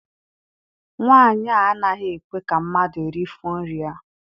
Nwaanyi a anaghị ekwe ka mmadụ rifọ nri ya.